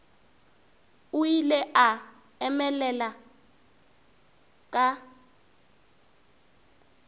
o ile a emelela ka